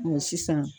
sisan